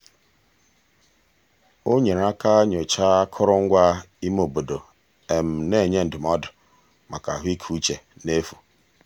o nyere aka nyochaa akụrụngwa ime obodo na-enye ndụmọdụ maka ahụikeuche n'efu.